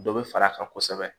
Dɔ bɛ far'a kan kosɛbɛ